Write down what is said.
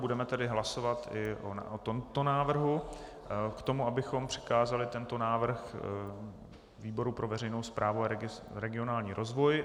Budeme tedy hlasovat i o tomto návrhu k tomu, abychom přikázali tento návrh výboru pro veřejnou správu a regionální rozvoj.